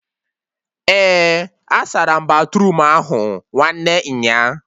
Eh, asaram batruum ahụ nwanne nyaa